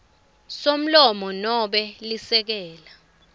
somlomo nobe lisekela